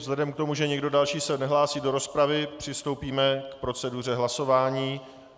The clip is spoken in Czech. Vzhledem k tomu, že nikdo další se nehlásí do rozpravy, přistoupíme k proceduře hlasování.